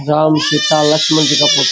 राम सीता लक्ष्मण जी का फोटू --